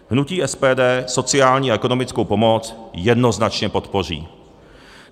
Hnutí SPD sociální a ekonomickou pomoc jednoznačně podpoří.